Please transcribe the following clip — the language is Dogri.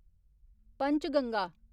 पंचगंगा